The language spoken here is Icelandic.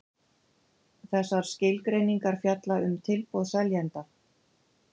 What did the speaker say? Þessar skilgreiningar fjalla um tilboð seljanda.